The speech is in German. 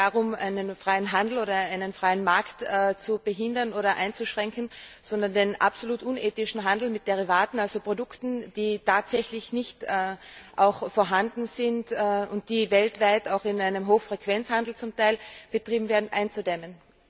Es geht nicht darum, einen freien Handel oder einen freien Markt zu behindern oder einzuschränken, sondern den absolut unethischen Handel mit Derivaten, also Produkten, die tatsächlich nicht vorhanden sind und die weltweit zum Teil in einem Hochfrequenzhandel betrieben werden, einzudämmen.